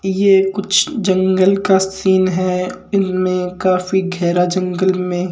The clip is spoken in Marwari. ये कुछ जंगल का सीन है इनमे काफ़ी गेहरा जंगल में--